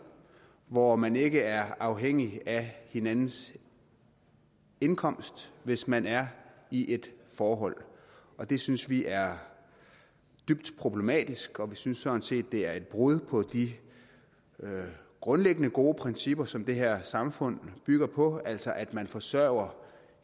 hvor man ikke er afhængig af hinandens indkomst hvis man er i et forhold og det synes vi er dybt problematisk og vi synes sådan set det er et brud på de grundlæggende gode principper som det her samfund bygger på altså at man forsørger